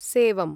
सेवम्